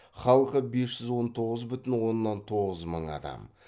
халқы бес жүз он тоғыз бүтін оннан тоғыз мың адам